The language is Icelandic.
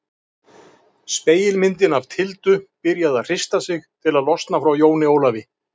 Spegilmyndin af Tildu byrjaði að hrista sig til að losna frá Jóni Ólafi.